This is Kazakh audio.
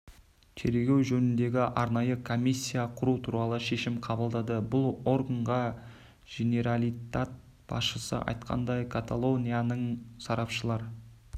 тергеу жөніндегі арнайы комиссия құру туралы шешім қабылдады бұл органға женералитат басшысы айтқандай каталонияның сарапшылар